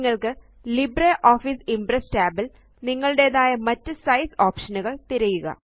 നിങ്ങള്ക്ക് LibreOffice Impress tab ല് നിങ്ങളുടേതായ മറ്റ് സൈസ് ഓപ്ഷനുകൾ തിരയുക